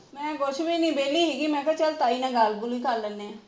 ਮੈ ਕੁਝ ਵੀ ਨਹੀ ਵਿਹਲੀ ਪਈ ਸੀ ਗੀ ਮੈ ਕਿਹਾ ਚੱਲ ਤਾਈ ਨਾਲ ਗੱਲ ਕਰ ਲੈਦੇ ਹਾਂ